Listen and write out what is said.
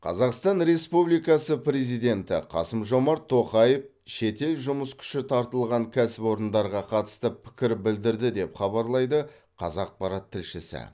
қазақстан республикасы президенті қасым жомарт тоқаев шетел жұмыс күші тартылған кәсіпорындарға қатысты пікір білдірді деп хабарлайды қазақпарат тілшісі